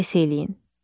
Müqayisə eləyin.